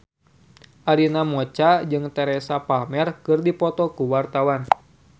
Arina Mocca jeung Teresa Palmer keur dipoto ku wartawan